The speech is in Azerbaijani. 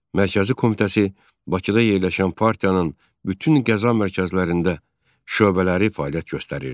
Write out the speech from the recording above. Mərkəzi Komitəsi Bakıda yerləşən partiyanın bütün qəza mərkəzlərində şöbələri fəaliyyət göstərirdi.